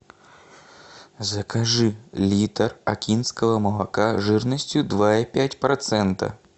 закажи литр окинского молока жирностью два и пять процента